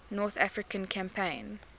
north african campaign